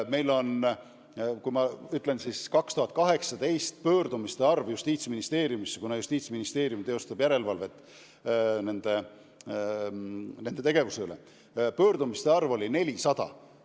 Justiitsministeerium teostab järelevalvet büroode tegevuse üle ja 2018. aastal oli sellesisuliste pöördumiste arv 400.